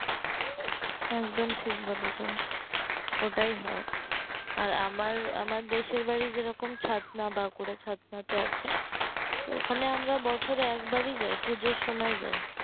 এক ডোম ঠিক বলেছেন ওটাই হয় আর আমার আমার দেশের বাড়ি যে রকম ছাদনা বাঁকুড়া ছাদনা তে আছে তো ওখানে আমরা বছরে একবারই যায় পূজোর সময় যায়